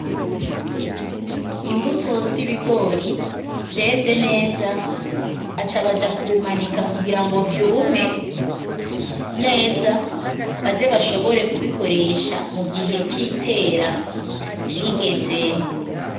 Imbuto z'ibigori vyeze neza aca baja kubimanika kugira ngo vyume neza baze bashobore kubikoresha mu gihe c'itera rigeze.